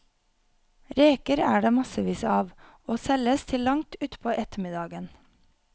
Reker er det massevis av, og selges til langt utpå ettermiddagen.